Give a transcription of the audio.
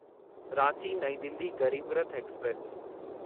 Ranchi Nai Delhi Garib Rath express